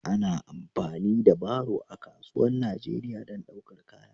Ana amfani da baro a kasuwan Najeriya don ɗaukar kaya.